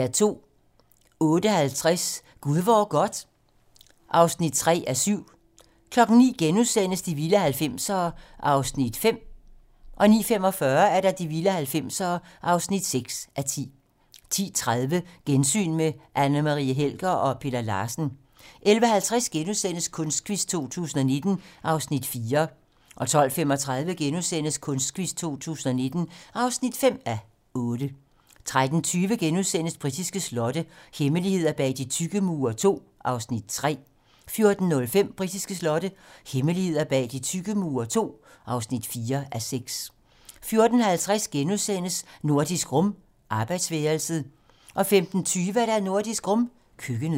08:30: Gud hvor godt (3:7) 09:00: De vilde 90'ere (5:10)* 09:45: De vilde 90'ere (6:10) 10:30: Gensyn med Anne Marie Helger og Peter Larsen 11:50: Kunstquiz 2019 (4:8)* 12:35: Kunstquiz 2019 (5:8)* 13:20: Britiske slotte - hemmeligheder bag de tykke mure II (3:6)* 14:05: Britiske slotte - hemmeligheder bag de tykke mure II (4:6) 14:50: Nordisk Rum - arbejdsværelset * 15:20: Nordisk Rum - køkkenet